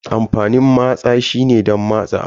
Amfanin matsa shine don matse abu.